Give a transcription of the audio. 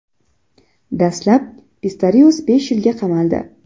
Dastlab Pistorius besh yilga qamaldi.